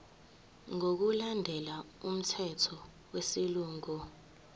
ngokulandela umthetho wesilungu